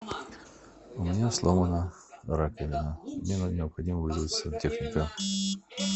у меня сломана раковина мне необходимо вызвать сантехника